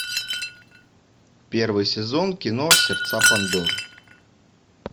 первый сезон кино сердца пандоры